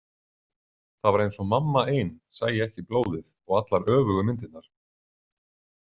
Það var eins og mamma ein sæi ekki blóðið og allar öfugu myndirnar.